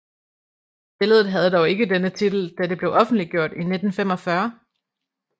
Billedet havde dog ikke denne titel da det blev offentliggjort i 1945